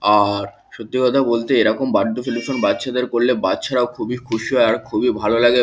আর সত্যি কথা বলতে এইরকম বার্থডে অনুষ্ঠান করলে বাচ্চাদের করলে খুশি বাচ্চারা খুবই খুশি হয় খুবই ভালো লাগে আর।